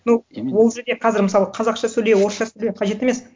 ну именно ол жерде қазір мысалы қазақша сөйле орысша сөйле қажет емес